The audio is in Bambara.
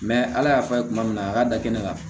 ala y'a fɔ a ye kuma min na a ka da kɛnɛ kan